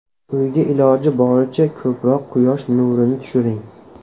Uyga iloji boricha ko‘proq quyosh nurini tushiring.